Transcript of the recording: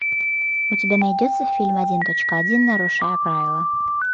у тебя найдется фильм один точка один нарушая правила